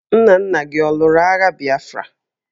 Nna nna gi ọ lụrụ agha Bịafra?